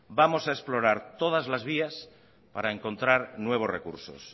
vamos a explorar todas las vías para encontrar nuevos recursos